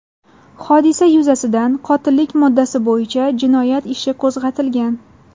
Hodisa yuzasidan qotillik moddasi bo‘yicha jinoyat ishi qo‘zg‘atilgan.